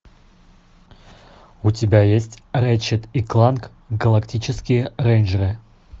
у тебя есть рэтчет и кланк галактические рейнджеры